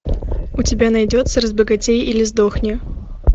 у тебя найдется разбогатей или сдохни